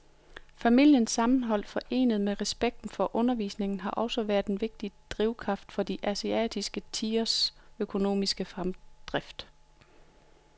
Familiens sammenhold forenet med respekten for undervisning har også været en vigtig drivkraft for de asiatiske tigeres økonomiske fremdrift.